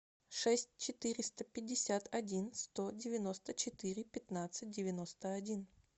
шесть четыреста пятьдесят один сто девяносто четыре пятнадцать девяносто один